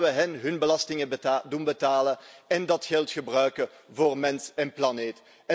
Laten we hen hun belastingen doen betalen en dat geld gebruiken voor mens en planeet.